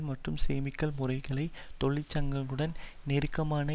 மற்றும் சேமிப்புகல்முறைமைகளை தொழிற்சங்களுடன் நெருக்கமாக